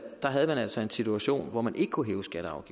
havde man altså en situation hvor man ikke kunne hæve skatter